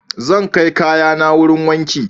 Zan kai kayana wurin wanki.